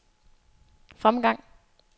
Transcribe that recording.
fremgang